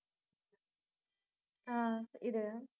ஆஹ் இரு